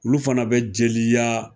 Olu fana be jeliya